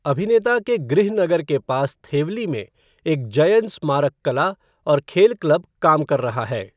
अभिनेता के गृहनगर के पास थेवली में एक जयन स्मारक कला और खेल क्लब काम कर रहा है।